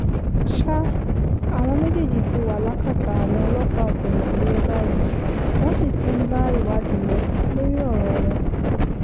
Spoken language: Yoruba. ṣá àwọn méjèèjì ti wà lákàtà àwọn ọlọ́pàá ọ̀tẹlẹ̀múyẹ́ báyìí wọ́n sì ti ń bá ìwádìí lọ lórí ọ̀rọ̀ wọn